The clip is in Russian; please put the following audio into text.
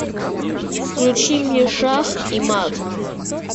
включи мне шах и мат